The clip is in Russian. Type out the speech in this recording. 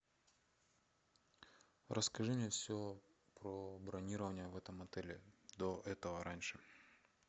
расскажи мне все про бронирование в этом отеле до этого раньше